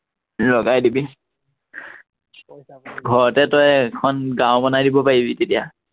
লগাই দিবি, ঘৰতে তই এখন গাওঁ বনাই দিব পাৰিবি তেতিয়া